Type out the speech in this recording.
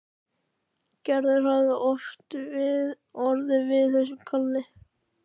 Gerður hafi orðið við þessu kalli.